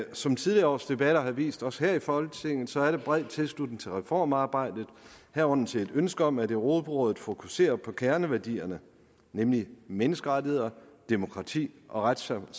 som tidligere års debatter har vist os her i folketinget bred tilslutning til reformarbejdet herunder til et ønske om at europarådet fokuserer på kerneværdierne nemlig menneskerettigheder demokrati og retssamfund